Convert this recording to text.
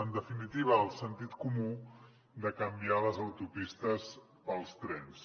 en definitiva el sentit comú de canviar les autopistes pels trens